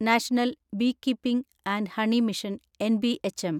national beekeeping and honey mission NBHM